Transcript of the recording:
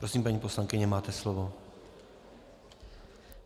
Prosím, paní poslankyně, máte slovo.